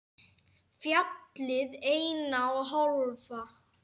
Fjallið eina og hálfa.